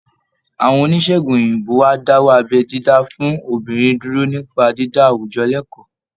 Àwọn oníṣègùn òyìnbó á dáwọ́ abẹ́ dídá fún obìnrin dúró nípa dídá àwùjọ lẹ́kọ̀ọ́